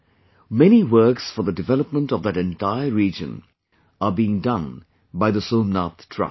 Many works for the development of that entire region are being done by the Somnath Trust